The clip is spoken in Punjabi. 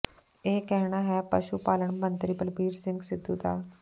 ਇਹ ਕਹਿਣਾ ਹੈ ਪਸ਼ੂ ਪਾਲਣ ਮੰਤਰੀ ਬਲਬੀਰ ਸਿੰਘ ਸਿੱਧੂ ਦਾ